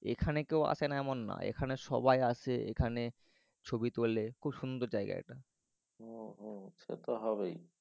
জীখানে কেউ আসে না এমন নয়। এখানে সবাই আসে এখানে ছবি তোলে। খুব সুন্দর জায়গা এটা। হম হম সে তো হবেই।